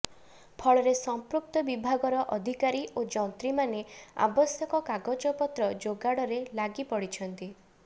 ଫଳରେ ସଂପୃକ୍ତ ବିଭାଗର ଅଧିକାରୀ ଓ ଯନ୍ତ୍ରୀମାନେ ଆବଶ୍ୟକ କାଗଜପତ୍ର ଯୋଗାଡ଼ରେ ଲାଗି ପଡ଼ିଛନ୍ତି